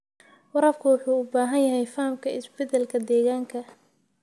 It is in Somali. Waraabka wuxuu u baahan yahay fahamka isbeddelka deegaanka.